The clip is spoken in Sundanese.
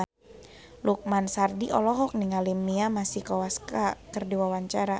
Lukman Sardi olohok ningali Mia Masikowska keur diwawancara